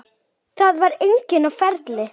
Það var enginn á ferli.